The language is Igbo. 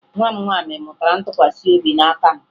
Nwa m nwaanyị mụtara ntụkwasị obi n'aka m